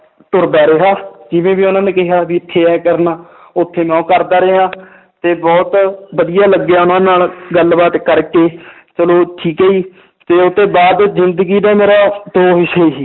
ਤੁਰਦਾ ਰਿਹਾ ਜਿਵੇਂ ਵੀ ਉਹਨਾਂ ਨੇ ਕਿਹਾ ਵੀ ਇੱਥੇ ਇਉਂ ਕਰਨਾ ਉੱਥੇ ਮੈਂ ਉਹ ਕਰਦਾ ਰਿਹਾ ਤੇ ਬਹੁਤ ਵਧੀਆ ਲੱਗਿਆ ਉਹਨਾਂ ਨਾਲ ਗੱਲਬਾਤ ਕਰਕੇ ਚਲੋ ਠੀਕ ਹੈ ਜੀ ਤੇ ਉਹ ਤੋਂ ਬਾਅਦ ਜ਼ਿੰਦਗੀ ਦਾ ਮੇਰਾ ਦੋ ਹਿੱਸੇ ਸੀ